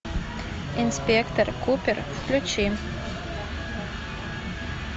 инспектор купер включи